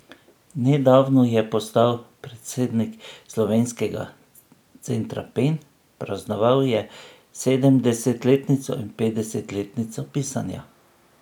Nedavno je postal predsednik Slovenskega centra Pen, praznoval je sedemdesetletnico in petdesetletnico pisanja.